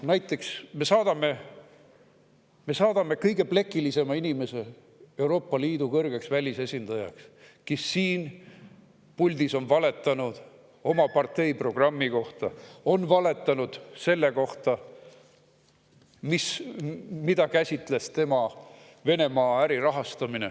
Näiteks saadame me Euroopa Liidu kõrgeks välisesindajaks kõige plekilisema inimese, kes siin puldis on valetanud oma parteiprogrammi kohta, on valetanud ka selle kohta, mida käsitles tema Venemaa äri rahastamine.